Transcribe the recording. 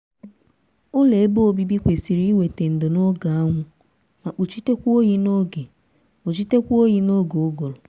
ụlọ kwesịrị weta ndo si na anwụ na mkpuchi oyi na uguru